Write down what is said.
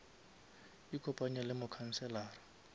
ikopanye le mokhanselara